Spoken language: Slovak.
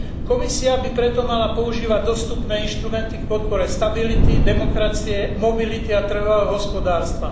Komisia by preto mala používať dostupné inštrumenty v podpore stability, demokracie, mobility a trhového hospodárstva.